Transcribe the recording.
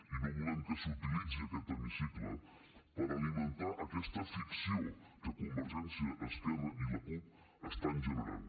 i no volem que s’utilitzi aquest hemicicle per alimentar aquesta ficció que convergència esquerra i la cup estan generant